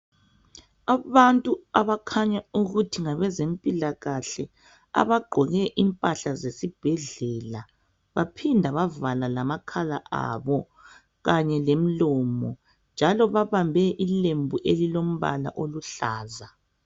Abantu abakhanya ukuthi ngabezempilakahle abagqoke impahla zesibhedlela baphinda bavala lamakhala abo kanye lemlomo kukhanya babambe ilembu elilombala oluhlaza.